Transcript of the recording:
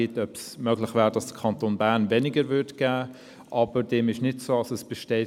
Somit hat Regierungsrat Schnegg das Wort.